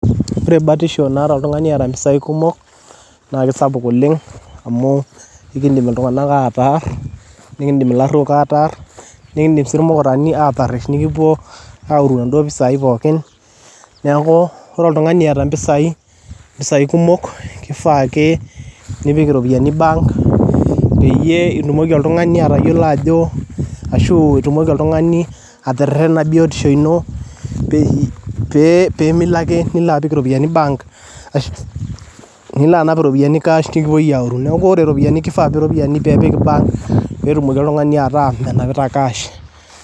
Ore batisho naata oltungani oota impisai kumok naa esapuk oleng amu ikiindim ltunganak ataarr, nikindim laruok ataarr, nikiindim si lmukarani aataresh nikipo aoru empisai, neaku ore oltungani eata mpisaii kumok keifaa ake nipik iropiyiani bank peyie itumoki oltungani atayolo ajo ashuu oo itumoki iltungani aterena biotisho ino piimilo ake nilo apik iropiyiani bank nilo anap iropiyiani cash nikipoi aapo aoru, naaku ore iropiyiani keifaa iropiyiani pee ipik bank peetumoki ltungani ataa menapita cash.